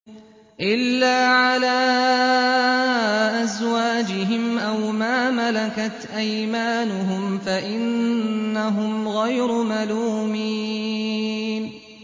إِلَّا عَلَىٰ أَزْوَاجِهِمْ أَوْ مَا مَلَكَتْ أَيْمَانُهُمْ فَإِنَّهُمْ غَيْرُ مَلُومِينَ